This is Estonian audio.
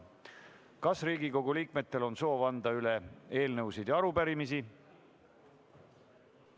Kas Riigikogu liikmetel on soovi üle anda eelnõusid ja arupärimisi?